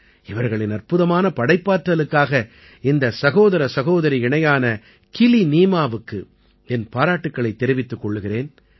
இவர்களின் அற்புதமான படைப்பாற்றலுக்காக இந்த சகோதர சகோதரி இணையான கிலிநீமாவுக்கு என் பாராட்டுக்களைத் தெரிவித்துக் கொள்கிறேன்